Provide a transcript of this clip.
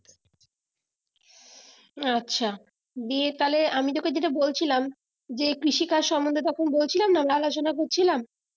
আচ্ছা, দিয়ে তাহলে আমি যেটা তোকে বলছিলাম যে কৃষি কাজ সম্বন্ধে তখন বলছিলাম না লালসোনা করছিলাম